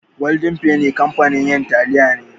Golden penny kamfanin yin taliya ne.